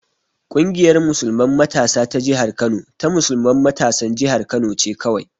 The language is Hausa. Ƙungiyar musulman matasa ta jihar Kano ta musulman matasan jihar Kano ce kawai.